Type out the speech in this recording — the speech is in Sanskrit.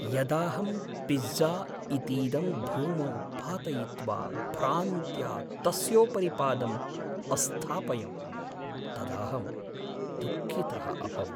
यदाहं पिज़्ज़ा इतीदं भूमौ पातयित्वा भ्रान्त्या तस्योपरि पादम् अस्थापयं तदाहं दुःखितः अभवम्।